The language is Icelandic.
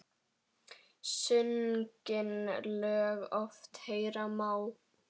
Sungin lög oft heyra má.